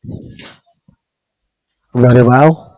અરે wow